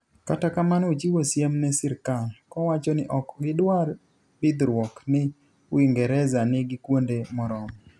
Kata kamano ochiwo siem ne sirkal, kowachoni ok gidwar bidhruok ni Uingereza nigi kuonde moromo.